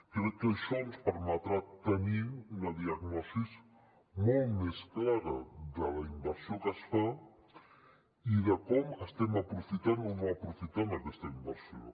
crec que això ens permetrà tenir una diagnosi molt més clara de la inversió que es fa i de com estem aprofitant o no aprofitant aquesta inversió